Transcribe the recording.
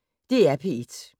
DR P1